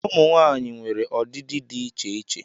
Ụmụ nwanyị nwere ọdịdị dị iche iche